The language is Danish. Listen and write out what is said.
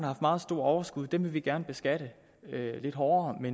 haft meget store overskud dem vil vi gerne beskatte lidt hårdere men